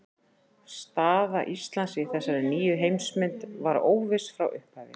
Staða Íslands í þessari nýju heimsmynd var óviss frá upphafi.